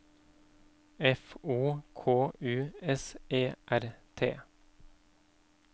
F O K U S E R T